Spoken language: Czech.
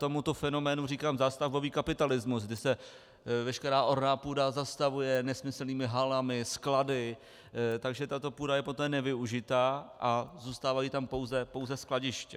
Tomuto fenoménu říkám zástavbový kapitalismus, kdy se veškerá orná půda zastavuje nesmyslnými halami, sklady, takže tato půda je poté nevyužitá a zůstávají tam pouze skladiště.